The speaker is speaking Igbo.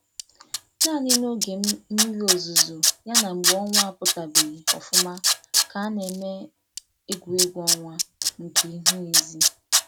Naanị n’oge mmiri ozuzo ya na mgbe ọnwa apụtabeghi ọfụma ka a na-eme egwuregwu ọnwa nke ihu ezi.